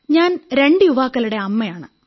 ഞാൻ രണ്ട് യുവാക്കളുടെ അമ്മയാണ്